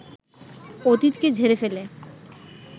অতীতকে ঝেড়ে ফেলে